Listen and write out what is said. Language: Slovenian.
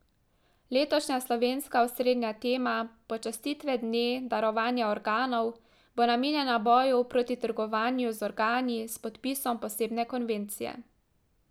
Letošnja slovenska osrednja tema počastitve dne darovanja organov bo namenjena boju proti trgovanju z organi s podpisom posebne konvencije.